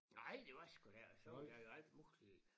Nej det var sgu da ik og så var der jo alt muligt